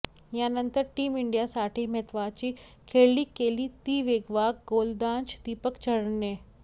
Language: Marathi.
यानंतर टीम इंडियासाठी महत्त्वाची खेळी केली ती वेगवान गोलंदाज दीपक चहरने